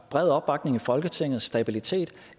bred opbakning i folketinget og stabilitet